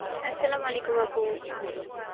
Arbi আপু.